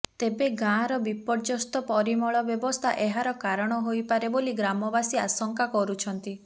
ତେବେ ଗାଁର ବିପର୍ଯ୍ୟସ୍ତ ପରିମଳ ବ୍ୟବସ୍ଥା ଏହାର କାରଣ ହୋଇପାରେ ବୋଲି ଗ୍ରାମବାସୀ ଆଶଙ୍କା କରୁଛନ୍ତି